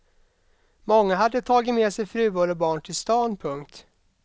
Många hade tagit med sig fruar och barn till stan. punkt